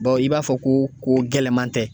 i b'a fɔ ko ko gɛlɛnman tɛ.